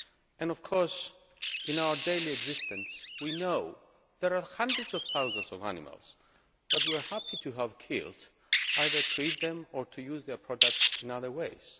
And of course in our daily existence we know there are hundreds of thousands of animals that we are happy to have killed, either to eat them or to use their products in other ways.